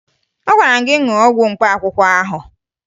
Agwara m gị ṅụọ ọgwụ mkpaakwụkwọ ahụ!